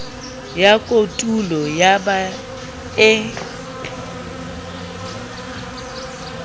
ya kotulo eo ba e